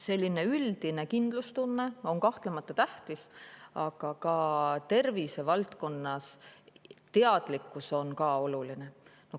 Selline üldine kindlustunne on kahtlemata tähtis, aga tervisevaldkonnas on teadlikkus ka oluline.